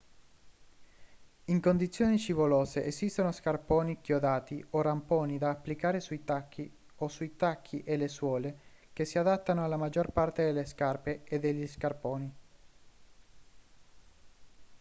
in condizioni scivolose esistono scarponi chiodati o ramponi da applicare sui tacchi o sui tacchi e le suole che si adattano alla maggior parte delle scarpe e degli scarponi